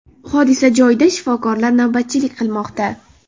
Hodisa joyida shifokorlar navbatchilik qilmoqda.